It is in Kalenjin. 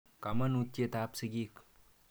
Kamanutyet ap sigik.